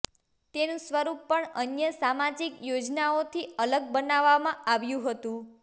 તેનું સ્વરૂપ પણ અન્ય સામાજીક યોજનાઓથી અલગ બનાવવામાં આવ્યું હતું